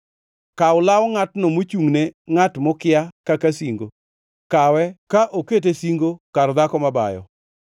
Kaw law ngʼatno mochungʼne ngʼat mokia kaka singo; kawe ka okete singo kar dhako mabayo.